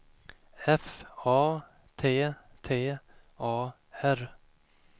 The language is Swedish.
F A T T A R